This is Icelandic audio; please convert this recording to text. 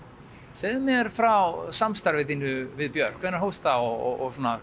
segðu mér frá samstarfi þínu við Björk hvenær hófst það og